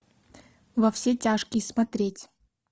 во все тяжкие смотреть